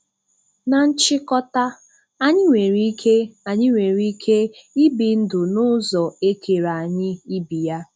Na nchịkọta, anyị nwere ike anyị nwere ike ibi ndụ n'ụzọ e kere anyị ibi ya.